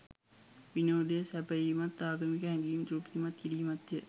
විනෝදය සැපයීමත්, ආගමික හැඟීම් තෘප්තිමත් කිරීමත් ය.